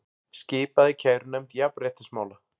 Skipað í kærunefnd jafnréttismála